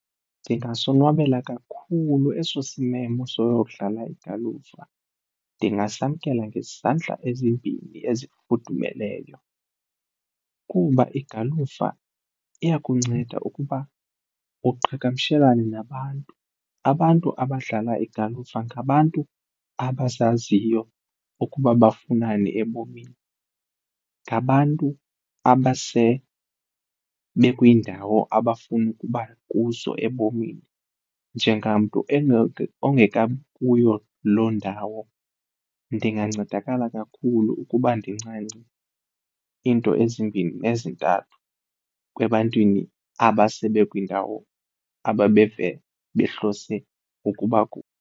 Ndingasonwabela kakhulu eso simemo soyodlala igalufa, ndingasamkela ngezandla ezimbini ezifudumeleyo kuba igalufa iyakunceda ukuba uqhagamshelane nabantu. Abantu abadlala igalufa ngabantu abazaziyo ukuba bafunani ebomini, ngabantu abase bekwindawo abafuna ukuba kuzo ebomini njengamntu ongekabi kuyo loo ndawo ndingancedakala kakhulu ukuba ndincance iinto ezimbini nezintathu ebantwini abase bekwindawo ababeve behlose ukuba kuyo.